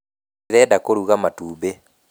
Ndĩrenda kũruga matumbĩ.